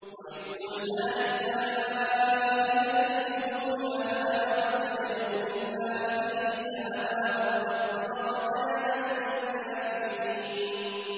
وَإِذْ قُلْنَا لِلْمَلَائِكَةِ اسْجُدُوا لِآدَمَ فَسَجَدُوا إِلَّا إِبْلِيسَ أَبَىٰ وَاسْتَكْبَرَ وَكَانَ مِنَ الْكَافِرِينَ